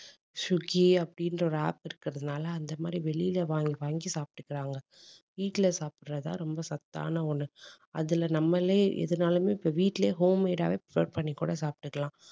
Swiggy அப்படின்ற ஒரு app இருக்கிறதுனால அந்த மாதிரி வெளியில வாங்கி வாங்கி சாப்பிட்டுக்கிறாங்க. வீட்டில சாப்பிடுறதுதான் ரொம்ப சத்தான ஒண்ணு அதுல நம்மளே எதுனாலுமே இப்ப வீட்டிலேயே home made ஆவே prepare பண்ணி கூட சாப்பிட்டுக்கலாம்.